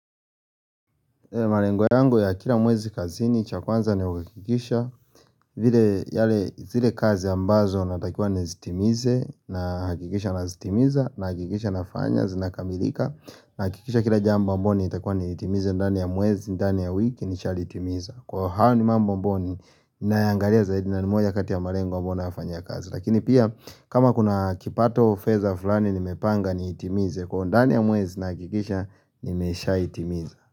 Malengo yangu ya kila mwezi kazini cha kwanza ni kuhakikisha zile kazi ambazo natakiwa nizitimize nahakikisha nazitimiza nahakikisha nafanya zinakamilika. Nahakikisha kila jambo ambayo natakiwa niitimize ndani ya mwezi ndani ya wiki nishalitimiza kwa hiyo hayo ni mambo ambayo ninayaangalia zaidi na ni moja kati ya malengo ambayo ninayofanyia kazi lakini pia kama kuna kipato au fedha fulani nimepanga niitimize kwa ndani ya mwezi nahakikisha nimeshaitimiza.